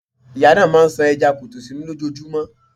Ìyá náà máà ń ṣan ẹja kọtó sunún lójojúmọ́.